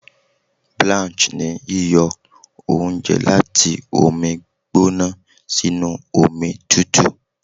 Blanch ni yíyọ oúnjẹ láti omi gbóná sínú omi tùtù.